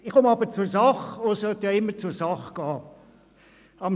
Nun komme ich zur Sache, da man ja immer zur Sache gehen soll.